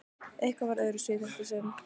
Eitthvað var öðruvísi í þetta sinn.